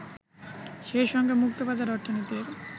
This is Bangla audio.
সেই সঙ্গে মুক্তবাজার অর্থনীতির